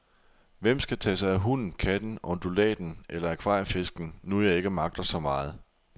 Hvem skal tage sig af hunden, katten, undulaten eller akvariefisken, nu jeg ikke magter så meget.